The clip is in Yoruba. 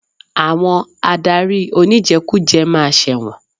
Àwọn adarí oníjẹkújẹ ma ṣẹ̀wọ̀n.